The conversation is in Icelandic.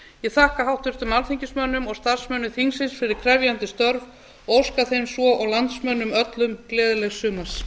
ég þakka háttvirtum alþingismönnum og starfsmönnum þingsins fyrir krefjandi störf og óska þeim sem og landsmönnum öllum gleðilegs sumars